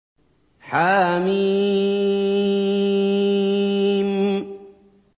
حم